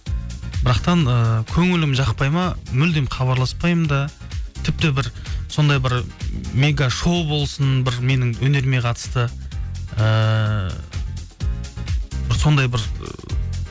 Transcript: ііі көңілім жақпайды ма мүлдем хабарласпаймын да тіпті бір сондай бір мегашоу болсын бір менің өнеріме қатысты ыыы бір сондай бір